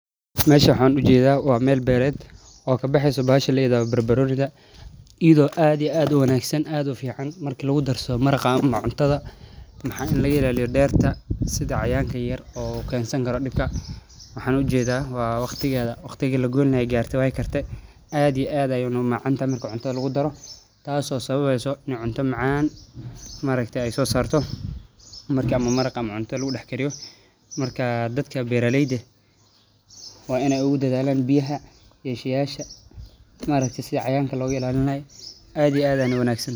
Meesha waxan u jeedaa waa meel beeleed oo ka baxeysa baashe leedahay barbaronida iyadoo aad iyo aad uwanaagsan aad u fiican marka lagu darsado maraqa ama Cuntada maaxa iin laga ilaaliyo beerta sida cayayaanka yar oo keensan kara dhibka waxan u jeedaa waa waqtigeeda waqtigii la goyni laha aay garte aad iyo aad ayaa na uu macantaa marki cuntada lagu daro tasoo sababayso iin cunto macaan maa aragtay ay soo saarto marki ama maraq ama cunto lagu dhex kariyo markaa dadka beeraleyda waa inay u dedaallaan biyaha iyo sheeyasha maaragte sidi cayayaanka loga ilalin lahay aad iyo aad ayna uwanaagsan ta.